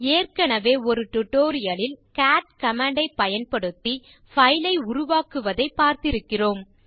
ஏற்கனவே ஒரு டியூட்டோரியல் லில் கேட் கமாண்ட் ஐப் பயன்படுத்தி பைல் ஐ உருவாக்குவதை பார்த்திருக்கிறோம்